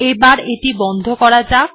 এবার এটি বন্ধ করা যাক